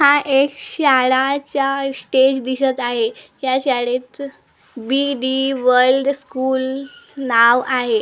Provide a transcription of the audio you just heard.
हा एक शाळाचा स्टेज दिसत आहे या शाळे चं बी_डी वर्ल्ड स्कूल नाव आहे या शाळेत--